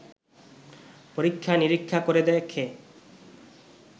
পরীক্ষা নিরীক্ষা করে দেখে